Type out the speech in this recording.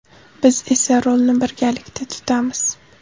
Biz esa rulni birgalikda tutamiz.